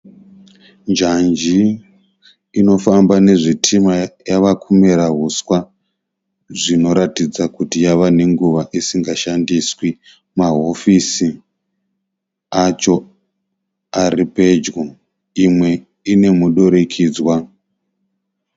Njanji inofamba nezvitima yava kumera huswa zvinoratidza kuti yava nenguva isingashandiswi. Mahofisi acho ari pedyo, imwe ine mudurikidzwa.